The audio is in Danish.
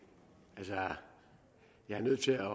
altså jeg er nødt til at